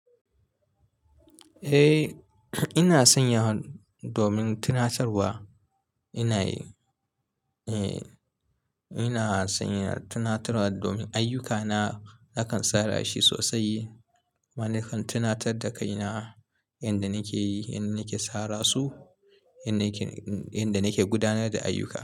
Eh, ina sanya domin tunatarwa. Ina yi, eh, ina sanya tunatarwa domin ayyukana nakan tsara shi sosai ma na kan tunatar da kaina yanda nake yi, yanda nake tsara su, yanda nake, yanda nake gudanar da ayyuka.